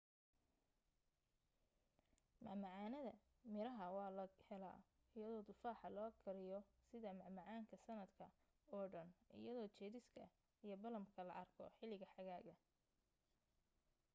macmacaanada miraha waa la helaa iyadoo tufaaxa loo kariyo sida macmacaanka sanadka oo dhan iyadoo jeeriska iyo balaamka la arko xilliga xagaaga